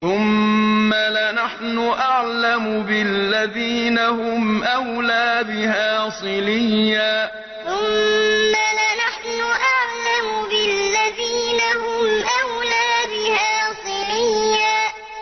ثُمَّ لَنَحْنُ أَعْلَمُ بِالَّذِينَ هُمْ أَوْلَىٰ بِهَا صِلِيًّا ثُمَّ لَنَحْنُ أَعْلَمُ بِالَّذِينَ هُمْ أَوْلَىٰ بِهَا صِلِيًّا